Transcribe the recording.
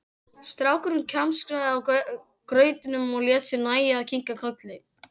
Strákurinn kjamsaði á grautnum og lét sér nægja að kinka kolli.